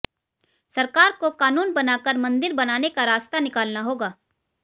सरकार को कानून बनाकर मंदिर बनाने का रास्ता निकालना होगा